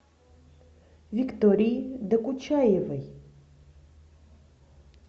виктории докучаевой